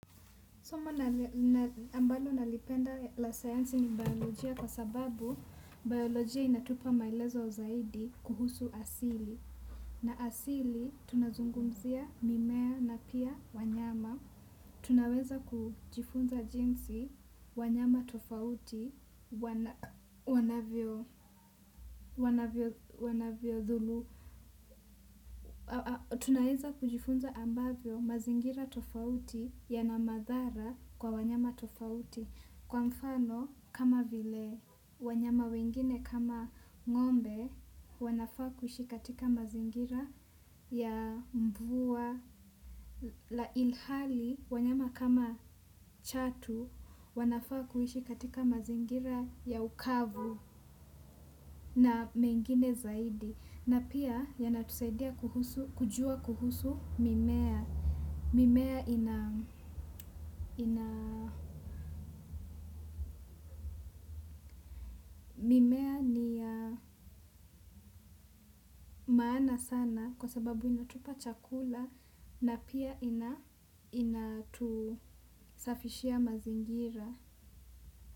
Somo ambalo nalipenda la sayansi ni biolojia kwa sababu biolojia inatupa maelezo zaidi kuhusu asili. Na asili tunazungumzia mimea na pia wanyama. Tunaweza kujifunza jinsi wanyama tofauti wanavyodhulu. Tunaweza kujifunza ambavyo mazingira tofauti yana madhara kwa wanyama tofauti. Kwa mfano, kama vile, wanyama wengine kama ngombe, wanafaa kuishi katika mazingira ya mvua. Na ilhali, wanyama kama chatu, wanafaa kuishi katika mazingira ya ukavu na mengine zaidi. Na pia, yanatusaidia kujua kuhusu mimea. Mimea ina, ni ya maana sana kwa sababu inatupa chakula na pia inatusafishia mazingira.